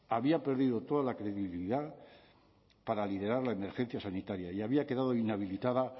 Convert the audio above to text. había perdido toda la credibilidad para liderar la emergencia sanitaria y había quedado inhabilitado